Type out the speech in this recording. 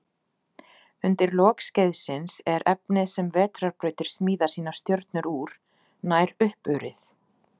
Undir lok skeiðsins er efnið sem vetrarbrautir smíða sínar stjörnur úr, nær uppurið.